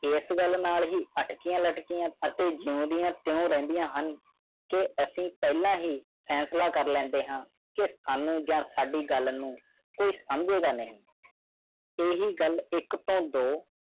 ਤਿਸ ਗਲ ਨਾਲ ਹੀ ਜਿਓ ਦੀਆ ਤਯੋ ਰਹੰਦੀ ਹੈ ਤੁਸੀਂ ਫੈਸਲਾ ਕਰਨ ਵਾਲੇ ਪਹਿਲੇ ਵਿਅਕਤੀ ਹੋ ਕੋਈ ਨਹੀਂ ਸਮਝਦਾ ਕਿ ਇਹ ਵਾਇਰਸ ਹੈ ਜਾਂ ਸਾੜ੍ਹੀ। ਤੇਈ ਏਹ ਹੀ ਗਲ ਤੋਂ